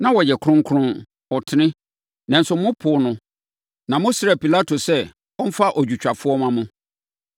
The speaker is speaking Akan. Na ɔyɛ Kronkron, ɔtene; nanso mopoo no na mosrɛɛ Pilato sɛ ɔmfa odwotwafoɔ mma mo.